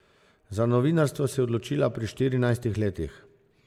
Za novinarstvo se je odločila pri štirinajstih letih.